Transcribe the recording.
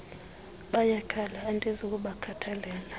bayakhala andizi kubakhathalela